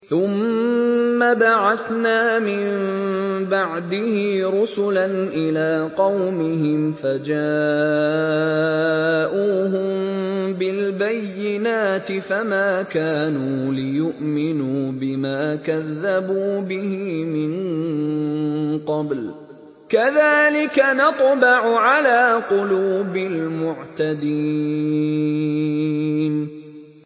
ثُمَّ بَعَثْنَا مِن بَعْدِهِ رُسُلًا إِلَىٰ قَوْمِهِمْ فَجَاءُوهُم بِالْبَيِّنَاتِ فَمَا كَانُوا لِيُؤْمِنُوا بِمَا كَذَّبُوا بِهِ مِن قَبْلُ ۚ كَذَٰلِكَ نَطْبَعُ عَلَىٰ قُلُوبِ الْمُعْتَدِينَ